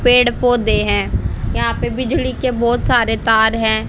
पेड़ पौधे हैं यहां पे बिजली के बहोत सारे तार हैं।